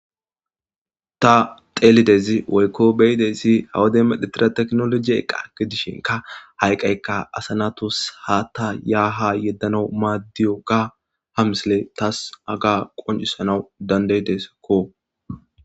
Ta teeliaydzi woykko be'idaydzi ha woden medhetida teknoloje iqa gidishinka ha iqaykka asa naatus haata yaa haa yeddanaw maadiyoga ha misiley taas haga qonccisanawu danda'idesakko.